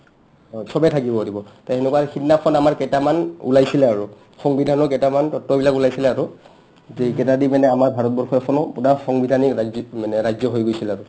হয়, চবে থাকিব পাৰিব toএনেকা সিদনাখন আমাৰ কেটামান ওলাইছিল আৰু সংবিধানৰ কেটামান তত্ৱবিলাক ওলাইছিলে আৰু যে এইকেটা দি পিনে আমাৰ ভাৰতবৰ্ষ এখনো পোৰা সংবিধানিক ৰাজ্যিক মানে ৰাজ্য হৈ গৈছিল আৰু